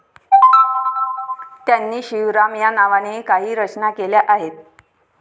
त्यांनी शिवराम या नावानेही काही रचना केल्या आहेत.